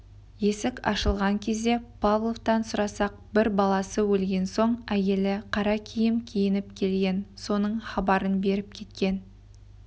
есік ашылған кезде павловтан сұрасақ бір баласы өлген соң әйелі қара киім киініп келіп соның хабарын беріп кеткен